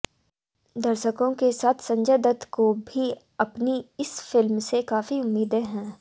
दर्शकों के साथ संजय दत्त को भी अपनी इस फिल्म से काफी उम्मीदें हैं